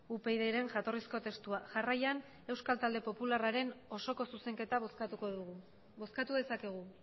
upydren jatorrizko testua jarraian euskal talde popularraren osoko zuzenketa bozkatuko dugu bozkatu dezakegu